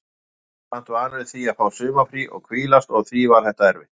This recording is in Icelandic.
Maður er samt vanur því að fá sumarfrí og hvílast og því var þetta erfitt.